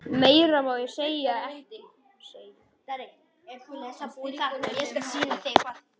Meira má ég ekki segja.